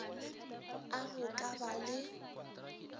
a go ka ba le